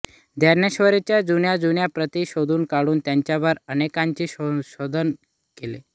ज्ञानेश्वरीच्या जुन्याजुन्या प्रती शोधून काढून त्यांच्यावर अनेकांनी संशोधन केले